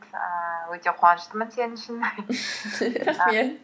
ііі өте қуаныштымын сен үшін рахмет